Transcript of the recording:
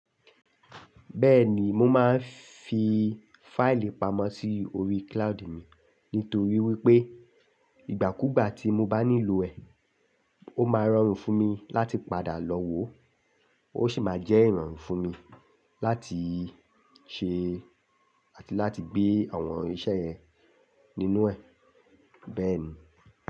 Bẹ́ẹ̀ni, mo máa ń fi fáìlì pamọ́ sí orí cloud mi. Nítorí wípé ìgbàkúgbà tí mo bá nílò ẹ̀, ó máa rọrùn fún mi láti padà lọ wò ó, ó sì máa jẹ́ ìrọ̀rùn fún mi láti ṣe àti láti gbé àwọn iṣẹ́ yẹn nínú ẹ̀. Bẹ́ẹ̀ ni.